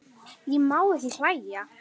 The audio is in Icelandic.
Ég má ekki hlæja.